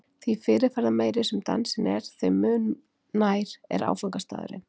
Því fyrirferðarmeiri sem dansinn er, þeim mun nær er áfangastaðurinn.